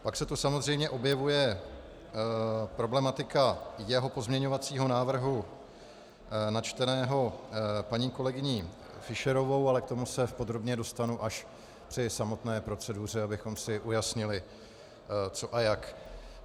Pak se tu samozřejmě objevuje problematika jeho pozměňovacího návrhu načteného paní kolegyní Fischerovou, ale k tomu se podrobně dostanu až při samotné proceduře, abychom si ujasnili, co a jak.